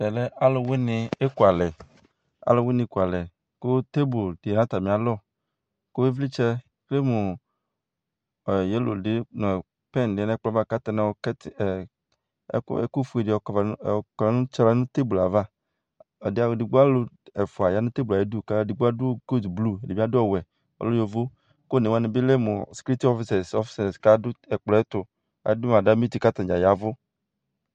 Ɛmɛ ɔlʋwini ekʋalɛ kʋ tebo di lɛnʋ atami alɔ kʋ ivlitsɛ yelo nʋ pɛn di lɛnʋ atami alɔ kʋ ayɔ ɛkʋfue di yɔkɔdʋ nʋ tabo yɛ ava alʋ ɛfʋa yanʋ tabo ɛtʋ ɛdi adʋ kotʋblu ɛdi bi adʋ ɔwɛ ɔlɛ yovo kʋ onewani lɛmʋ skritsɔ ɔfisɛs adʋ ɛkplɔ ɛtʋ adʋ adaliti kʋ aya ɛvʋ